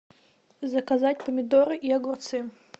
заказать помидоры и огурцы